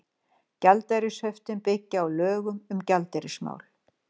Gjaldeyrishöftin byggja á lögum um gjaldeyrismál.